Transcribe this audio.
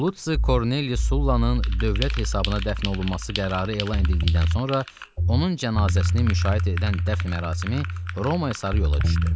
Lusi Korneli Sullannın dövlət hesabına dəfn olunması qərarı elan edildikdən sonra onun cənazəsini müşayiət edən dəfn mərasimi Romaya sarı yola düşdü.